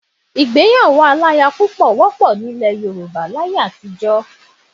Ìgbéyàwó aláya ló wọ́pọ̀ nílẹ̀ Yorùbá láyé àtijọ́.